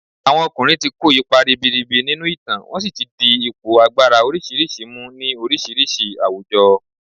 Àwọn ọkùnrin ti kó ipa ribiribi nínú ìtàn wọ́n si ti di ipò agbára oríṣiríṣi mu ni oríṣiríṣi àwùjọ